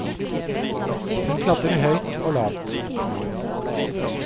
Hun klatrer høyt og lavt. punktum